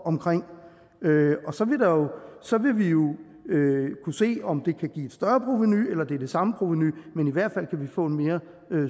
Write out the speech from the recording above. omkring og så vil vi jo kunne se om det kan give et større provenu eller om det er det samme provenu men i hvert fald kan vi få en mere